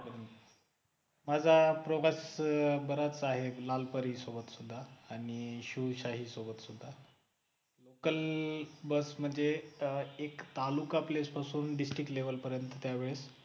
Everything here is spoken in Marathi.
माझा प्रवास बराच आहे लाल परी सोबत सुद्धा आणि शिवशाही सोबत सुद्धा local बस म्हणजे एक तालुका place पासून त्यावेळ district level पर्यंत त्या वेळेस